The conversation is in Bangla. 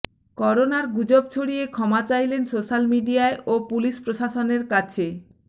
করোনার গুজব ছড়িয়ে ক্ষমা চাইলেন সোশ্যাল মিডিয়ায় ও পুলিশ প্রশাসনের কাছে